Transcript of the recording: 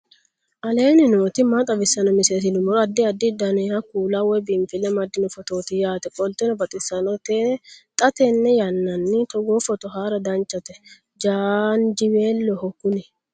aleenni nooti maa xawisanno misileeti yinummoro addi addi dananna kuula woy biinfille amaddino footooti yaate qoltenno baxissannote xa tenne yannanni togoo footo haara danchate jaanjiweeloho kuni